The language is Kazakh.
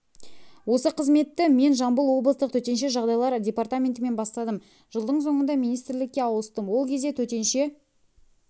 осы қызметті мен жамбыл облыстық төтенше жағдайлар департаментінен бастадым жылдың соңында министрлікке ауыстым ол кезде төтенше